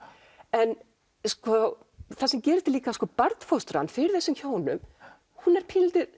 en sko það sem gerist er líka að barnfóstran fyrir þessum hjónum hún er pínulítið